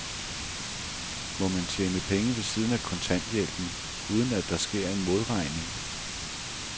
Må man tjene penge ved siden af kontanthjælpen, uden at der sker en modregning?